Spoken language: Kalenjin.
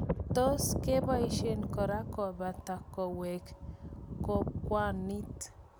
tuss kebaishe kora kopata kaweeg kongwanit